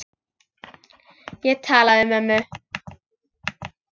Ég talaði við mömmu.